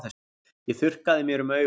Ég þurrkaði mér um augun.